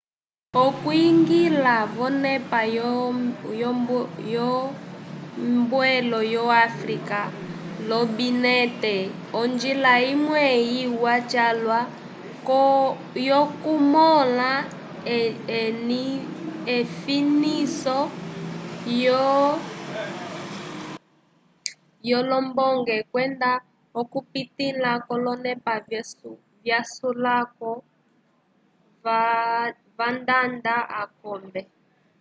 okwiñgila vonepa yombeelo yo áfrica lombinete onjila imwe iwa calwa yokumõla efiniso lyolombonge kwenda okupitila k'olonepa vyasulako vandanda akombe